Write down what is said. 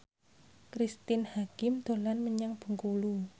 Cristine Hakim dolan menyang Bengkulu